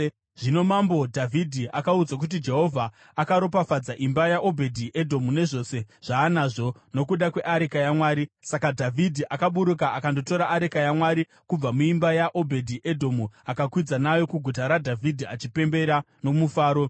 Zvino Mambo Dhavhidhi akaudzwa kuti, “Jehovha akaropafadza imba yaObhedhi-Edhomu nezvose zvaanazvo, nokuda kweareka yaMwari.” Saka Dhavhidhi akaburuka akandotora areka yaMwari kubva muimba yaObhedhi-Edhomu akakwidza nayo kuGuta raDhavhidhi achipembera nomufaro.